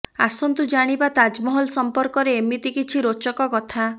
ଆସନ୍ତୁ ଜାଣିବା ତାଜମହଲ ସମ୍ପର୍କରେ ଏମିତି କିଛି ରୋଚକ କଥା